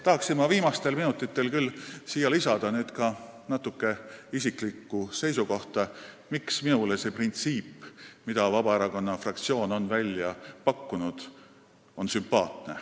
... tahaksin ma viimastel minutitel natuke väljendada ka isiklikku seisukohta, miks on minule sümpaatne see printsiip, mille Vabaerakonna fraktsioon on välja pakkunud.